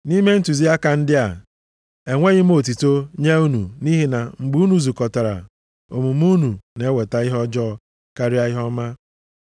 Nʼime ntụziaka ndị a, enweghị m otuto nye unu nʼihi na mgbe unu zukọtara omume unu na-eweta ihe ọjọọ karịa ihe ọma.